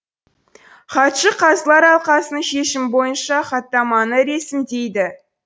хатшы қазылар алқасының шешімі бойынша хаттаманы ресімдейді